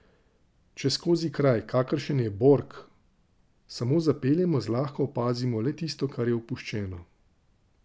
Če skozi kraj, kakršen je Borg, samo zapeljemo, zlahka opazimo le tisto, kar je opuščeno.